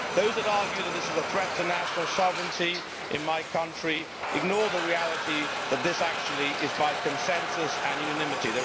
Those who argue that this is a threat to national sovereignty in my country ignore the reality that this actually is by consensus and unanimity.